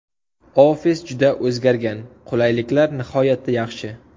Ofis juda o‘zgargan, qulayliklar nihoyatda yaxshi.